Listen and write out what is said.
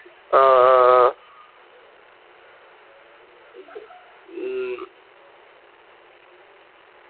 ആഹ് ആഹ് ആഹ് ഉം